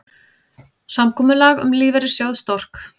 Samkomulag um lífeyrissjóð Stork